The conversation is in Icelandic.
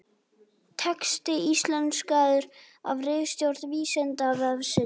Texti íslenskaður af ritstjórn Vísindavefsins.